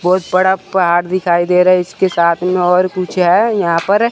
बहुत बड़ा पहाड़ दिखाई दे रहा है इसके साथ में और पूछे है यहां पर।